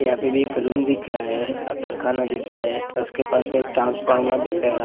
यहाँ पे भी एक रूम दिख रहा है आ कारखाना दिख रहा है उसके पास में एक ट्रांसफोर्मर दिख रहा है। रा --